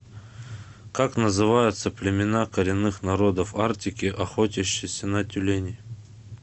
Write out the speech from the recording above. как называются племена коренных народов арктики охотящиеся на тюленей